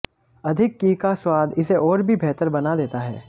अधिक घी का स्वाद इसे और भी बेहतर बना देता है